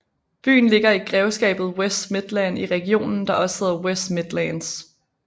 Byen ligger i grevskabet West Midlands i regionen der også hedder West Midlands